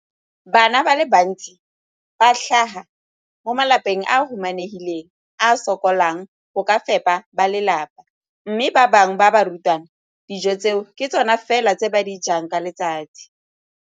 Bana ba le bantsi ba tlhaga mo malapeng a a humanegileng a a sokolang go ka fepa ba lelapa mme ba bangwe ba barutwana, dijo tseo ke tsona fela tse ba di jang ka letsatsi.